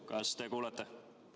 Kas te kuulete?